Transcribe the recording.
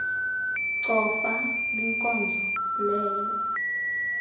cofa kwinkonzo leyo